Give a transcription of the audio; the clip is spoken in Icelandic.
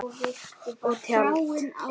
Og taldi